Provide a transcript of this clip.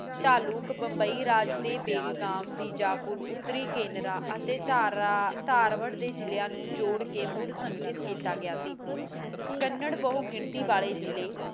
ਤਾਲੁਕ ਮੁੰਬਈ ਰਾਜ ਬੇਲਗਾਮ ਬੇਜਪੁਰ ਉਤਰੀ ਕੇਨਰਾ ਅਤੇ ਤਾਰਵਡ ਦੇ ਜਿਲਾ ਨੂੰ ਜੋੜ ਕ ਮੁੜ ਸਕਿਤ ਕੀਤਾ ਗਿਆ ਸੇ ਕੰਨੜ ਬੁਹ ਗਿਣਤੀ ਵਾਲੇ ਜਿਲ੍ਹੇ